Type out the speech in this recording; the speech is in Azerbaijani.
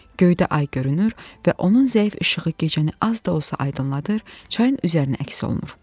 Göydə ay görünür və onun zəif işığı gecəni az da olsa aydınladır, çayın üzərinə əks olunur.